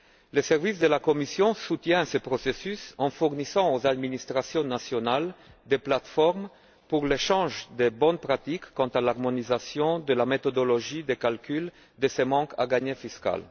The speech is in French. Les services de la Commission soutiennent ce processus en fournissant aux administrations nationales des plates formes pour l'échange de bonnes pratiques quant à l'harmonisation de la méthodologie de calcul de ce manque à gagner fiscal.